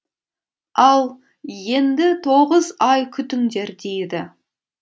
ал енді тоғыз ай күтіңдер дейді